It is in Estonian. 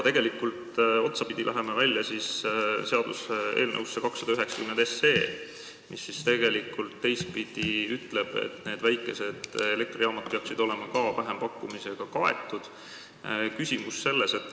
Tegelikult me läheme otsapidi välja seaduseelnõusse 290, mis ütleb teistpidi, et need väikesed elektrijaamad peaksid olema ka vähempakkumisega kaetud.